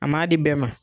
A ma di bɛɛ ma